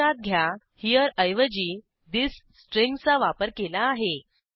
लक्षात घ्या HEREऐवजी थिस स्ट्रिंगचा वापर केला आहे